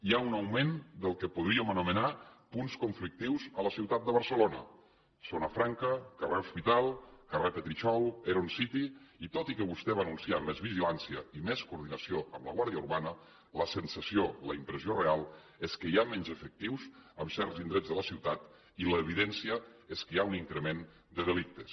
hi ha un augment del que podríem anomenar punts conflictius a la ciutat de barcelona zona franca carrer hospital carrer petritxol heron city i tot i que vostè va anunciar més vigilància i més coordinació amb la guàrdia urbana la sensació la impressió real és que hi ha menys efectius en certs indrets de la ciutat i l’evidència és que hi ha un increment de delictes